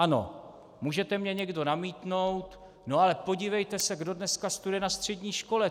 Ano, můžete mně někdo namítnout: No ale podívejte se, kdo dneska studuje na střední škole.